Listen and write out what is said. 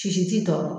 Sisi ti tɔɔrɔ